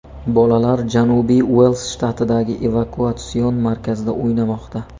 Bolalar Janubiy Uels shtatidagi evakuatsion markazda o‘ynamoqda.